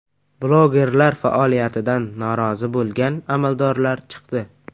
Blogerlar faoliyatidan norozi bo‘lgan amaldorlar chiqdi.